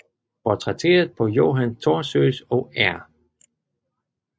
Portrætteret på Johan Thorsøes og R